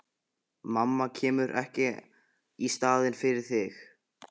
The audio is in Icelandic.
Mamma kemur ekki í staðinn fyrir þig.